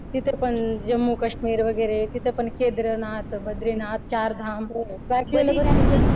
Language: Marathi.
तिथे पण जम्मू-काश्मीर वगैरे तिथ पण केदारनाथ, बद्रीनाथ, चारधाम.